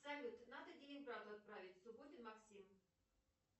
салют надо денег брату отправить субботин максим